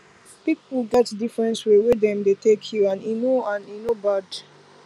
people get different way wey dem dey take heal and e no and e no bad